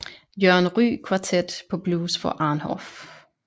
Jørgen Ryg Quartet på Blues For Arnhoff